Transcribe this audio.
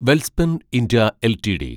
Welspun India LTD